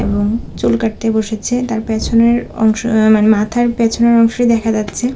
এবং চুল কাটতে বসেছে তার পেছনের অংশ অ্যা-মানে মাথার পেছনের অংশই দেখা যাচ্ছে।